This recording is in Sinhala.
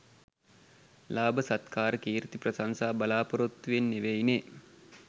ලාභ සත්කාර කීර්ති ප්‍රශංසා බලාපොරොත්තුවෙන් නෙවෙයිනෙ